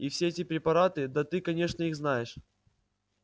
и все эти препараты да ты конечно их знаешь